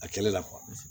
A kɛlɛ la kuwa